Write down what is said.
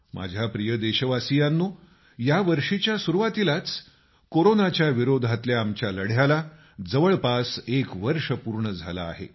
माझ्या प्रिय देशवासियांनो या वर्षीच्या सुरूवातीलाच कोरोनाच्या विरोधातल्या आमच्या लढ्याला जवळपास एक वर्ष पूर्ण झालं आहे